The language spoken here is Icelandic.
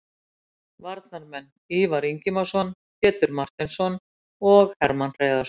Varnarmenn: Ívar Ingimarsson, Pétur Marteinsson og Hermann Hreiðarsson.